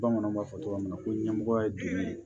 Bamananw b'a fɔ tɔgɔ minna ko ɲɛmɔgɔ ye jumɛn ye